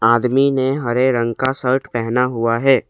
आदमी ने हरे रंग का शर्ट पहना हुआ है।